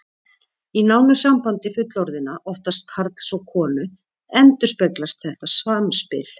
Í nánu sambandi fullorðinna, oftast karls og konu, endurspeglast þetta samspil.